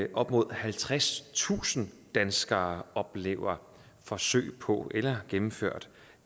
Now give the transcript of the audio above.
at op mod halvtredstusind danskere om oplever forsøg på eller gennemført